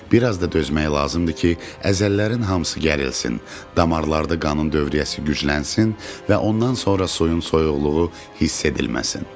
Bir az da dözmək lazımdır ki, əzələlərin hamısı gərilsin, damarlarda qanın dövriyyəsi güclənsin və ondan sonra suyun soyuqluğu hiss edilməsin.